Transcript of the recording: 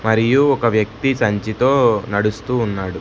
మరియు ఒక వ్యక్తి సంచి తో నడుస్తూ ఉన్నాడు.